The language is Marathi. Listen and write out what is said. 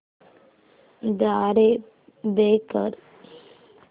द्वारे पे कर